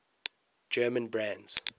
german brands